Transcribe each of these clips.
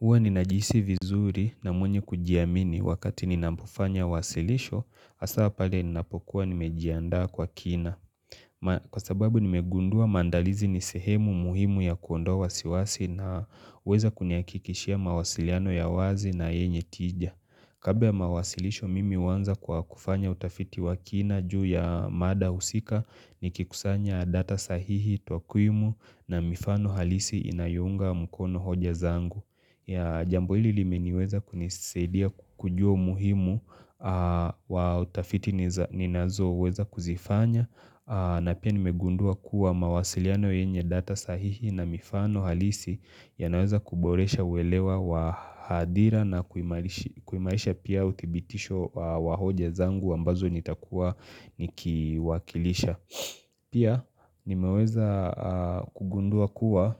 Huwa ninajisi vizuri na mwenye kujiamini wakati ninapofanya wasilisho, hasa pale ninapokuwa nimejiandaa kwa kina. Kwa sababu nimegundua maandalizi ni sehemu muhimu ya kuondoa wasiwasi na huweza kunihakikishia mawasiliano ya wazi na yenye tija. Kabla ya mawasilisho mimi huanza kwa kufanya utafiti wa kina juu ya mada husika nikikusanya data sahihi takwimu na mifano halisi inayounga mkono hoja zangu. Jambo hili limeniweza kunisidia kujua muhimu wa utafiti ninazo weza kuzifanya na pia nimegundua kuwa mawasiliano yenye data sahihi na mifano halisi ya naweza kuboresha uwelewa wa hadira na kuimaisha pia utibitisho wa hoja zangu ambazo nitakuwa nikiwakilisha. Pia nimeweza kugundua kuwa,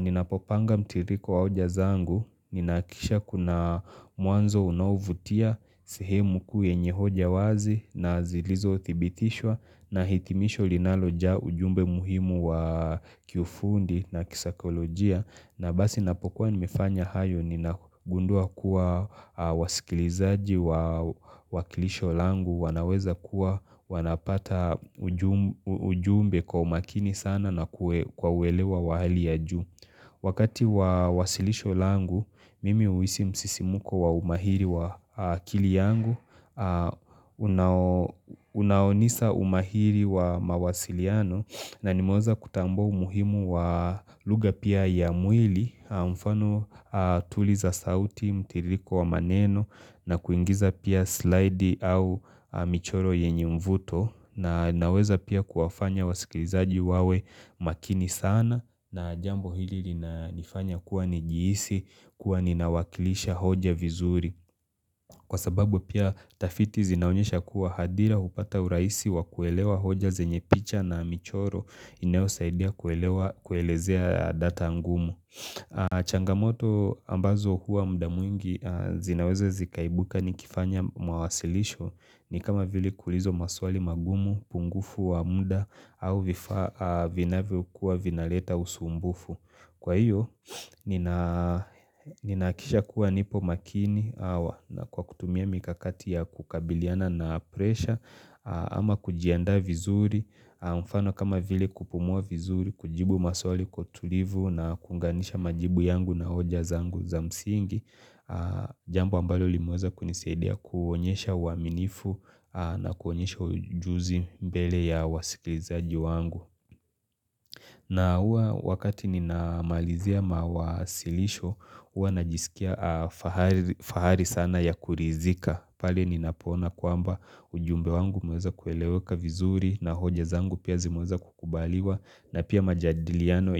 ninapopanga mtiririiko wa hoja zangu, ninahakikisha kuna mwanzo unaovutia, sehemu kuu yenye hoja wazi na zilizotibitishwa na hitimisho linalojaa ujumbe muhimu wa kifundi na kisaikolojia. Na basi napokuwa nimefanya hayo ni nagundua kuwa wasikilizaji wa kilisho langu, wanaweza kuwa, wanapata ujumbe kwa umakini sana na kwa uelewa wali ya ju. Wakati wa wasilisho langu, mimi huhisi msisimuko wa umahiri wa akili yangu. Unaonisa umahiri wa mawasiliano na nimeweza kutambua umuhimu wa lugha pia ya mwili, mfano tuli za sauti, mtiririko wa maneno na kuingiza pia slide au michoro yenye mvuto. Na naweza pia kuwafanya wasikilizaji wawe makini sana na jambo hili linanifanya kuwa nijihisi kuwa ninawakilisha hoja vizuri kwa sababu pia tafiti zinaonyesha kuwa hadhira hupata urahisi wakuelewa hoja zenye picha na michoro inayosaidia kuelezea data angumu changamoto ambazo huwa muda mwingi zinaweza zikaibuka nikifanya mawasilisho ni kama vile kuulizwa maswali magumu, upungufu wa muda au vifaa vinavyokuwa vinaleta usumbufu Kwa hiyo, ninahakikisha kuwa nipo makini au na kwa kutumia mikakati ya kukabiliana na presha ama kujianda vizuri, mfano kama vili kupumua vizuri, kujibu maswali kwa utulivu na kuunganisha majibu yangu na hoja zangu za msingi Jambo ambalo limeweza kunisaidia kuonyesha uaminifu na kuonyesha ujuzi mbele ya wasikilizaji wangu na hua wakati ninamalizia mawasilisho hua najisikia fahari sana ya kuridhika pale ninapoona kwamba ujumbe wangu umeweza kueleweka vizuri na hoja zangu pia zimeweza kukubaliwa na pia majadiliano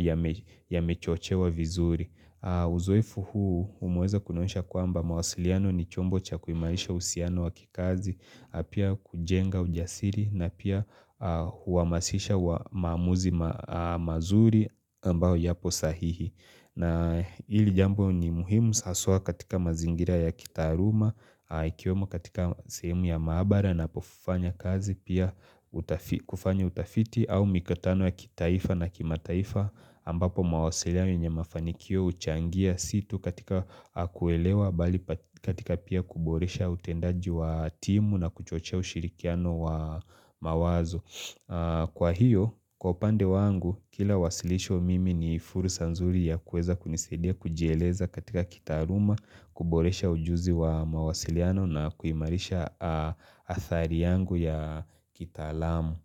yamechochewa vizuri Uzoefu huu umeweza kunionyesha kwamba mawasiliano ni chombo cha kuimarisha uhusiano wa kikazi na pia kujenga ujasiri na pia huhamasisha wa maamuzi mazuri ambao yapo sahihi na hili jambo ni muhimu haswa katika mazingira ya kitaaluma ikiwemo katika sehemu ya maabara ninapofanya kazi pia kufanya utafiti au mikutano ya kitaifa na kimataifa ambapo mawasiliano yenye mafanikio huchangia si tu katika kuelewa bali katika pia kuboresha utendaji wa timu na kuchochea ushirikiano wa mawazo Kwa hiyo, kwa upande wangu, kila wasilisho mimi ni fursa nzuri ya kuweza kunisaidia kujieleza katika kitaaluma, kuboresha ujuzi wa mawasiliano na kuimarisha athari yangu ya kitalamu.